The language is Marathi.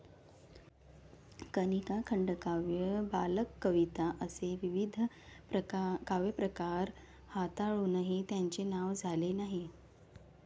कनिका, खंडकाव्य बालकविता असे विविध काव्यप्रकार हाताळुनही त्यांचे नाव झाले नाही.